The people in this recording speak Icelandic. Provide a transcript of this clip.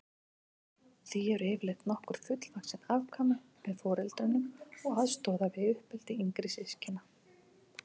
Því eru yfirleitt nokkur fullvaxin afkvæmi með foreldrunum og aðstoða við uppeldi yngri systkina.